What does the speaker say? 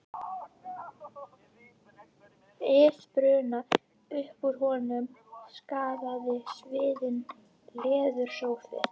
ið brunna, upp úr honum skagaði sviðinn leðursófi.